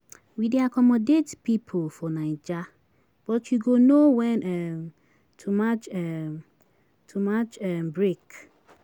Your mama no go like am if she find out say you dey cry.